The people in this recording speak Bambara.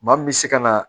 Maa min bɛ se ka na